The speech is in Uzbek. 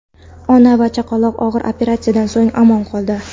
Ona va chaqaloq og‘ir operatsiyadan so‘ng omon qoldi.